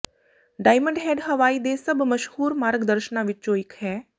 diamond Head Hawaii ਦੇ ਸਭ ਮਸ਼ਹੂਰ ਮਾਰਗ ਦਰਸ਼ਨਾਂ ਵਿੱਚੋਂ ਇੱਕ ਹੈ